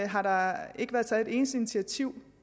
har der ikke været taget et eneste initiativ